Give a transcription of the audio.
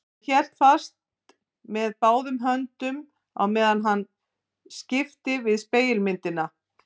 Hann hélt henni fast með báðum höndum á meðan hann skipti við spegilmyndina.